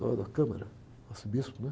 Dom, o arcebispo, né?